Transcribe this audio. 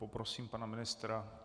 Poprosím pana ministra.